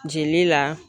Jeli la